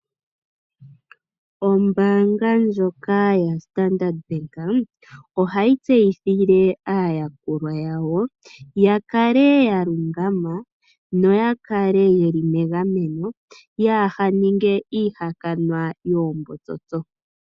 Oombanga ndjoka yaStandard bank , ohayi tseyithile aayakulwa yawo, ya kale ya lungama no ya kale yeli megameno , yaa ninge iihakanwa yoombotsotso.